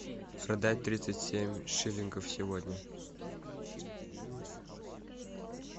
продать тридцать семь шиллингов сегодня